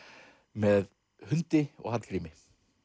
með hundi og Hallgrími